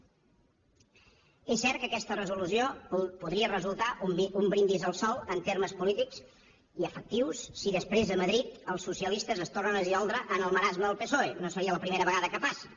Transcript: és cert que aquesta resolució podria resultar un brindis al sol en termes polítics i efectius si després a madrid els socialistes es tornen a dissoldre en el marasme del psoe no seria la primera vegada que passa